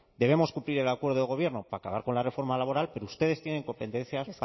debemos cumplir el acuerdo de gobierno para acabar con la reforma laboral pero ustedes tienen competencias